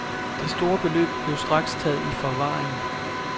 Det store beløb blev straks taget i forvaring.